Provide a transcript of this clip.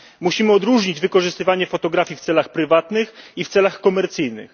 Musimy odróżnić wykorzystywanie fotografii w celach prywatnych i w celach komercyjnych.